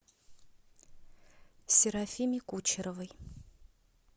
серафиме кучеровой